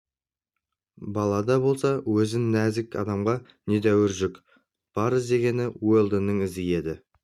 бала да болса өзі нәзік адамға недәуір жүк бар іздегені уэлдонның ізі еді